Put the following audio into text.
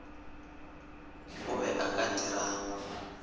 o be o ka dirang